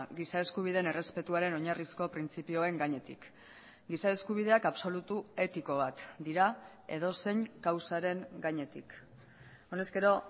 giza eskubideen errespetuaren oinarrizko printzipioen gainetik giza eskubideak absolutu etiko bat dira edozein kausaren gainetik honezkero